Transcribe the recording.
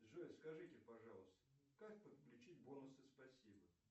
джой скажите пожалуйста как подключить бонусы спасибо